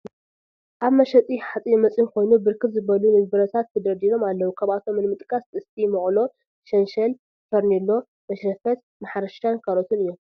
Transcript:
እዚ መሸጢ ሓፂን መፂን ኮይኑ ብርክት ዝበሉ ንብረታት ተደርዲሮም አለዉ፡፡ ካብአቶም ንምጥቃስ፡- ጥስቲ ፣ መቁሎ፣ ሸንሸል፣ ፈርኔሎ፣ መሽረፈት ማሕረሻን ካልኦትን እዮም፡፡